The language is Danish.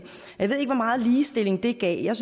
jeg ved ikke hvor meget ligestilling det gav jeg